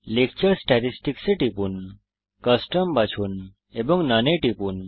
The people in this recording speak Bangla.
লেকচার স্ট্যাটিসটিকস এ টিপুন কাস্টম বাছুন এবং নোন এ টিপুন